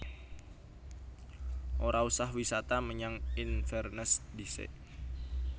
Ora usah wisata menyang Inverness ndhisik